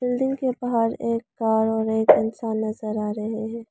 Building के बाहर एक कार और एक इंसान नजर आ रहे हैं।